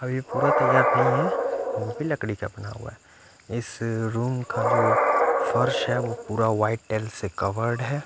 अभी पूरा तैयार नही है वो भी लकड़ी का बना हुआ है इस रूम का जो फर्श है वो पूरा वाइट टेल्स से कवर है।